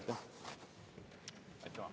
Aitäh!